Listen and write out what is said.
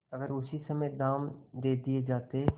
अगर उसी समय दाम दे दिये जाते